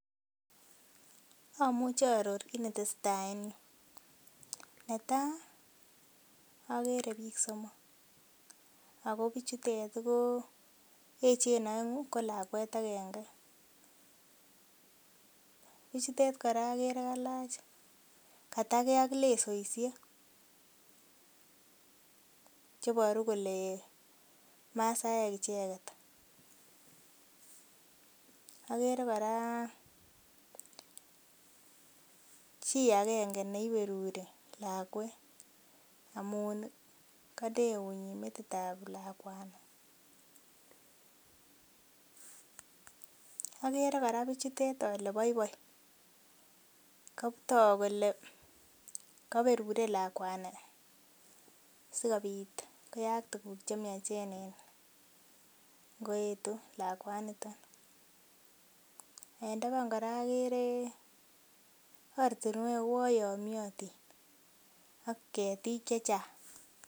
Amuche aaror kit netesetaa en yuu netaa okere biik somok ako bichutet ko echen oenge ko lakwet agenge. Bichutet kora okere kalach katatgee ak lesoisiek cheboru kole masaek icheket. Okere kora chii agenge neiberuri lakwet amun ih konde eunyin metit ab lakwani. Okere kora bichutet ole boiboi kotok kole koberure lakwani sikobit koyaak tuguk chemiachen en ngoetu lakwaniton. En taban kora agere ortinwek uon yomyotin ak ketik chechang